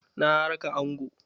Na raka angon.